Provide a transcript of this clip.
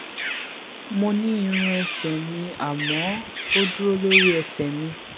mo ní irun ẹsè mi àmọ ó dúró lórí ẹsè mi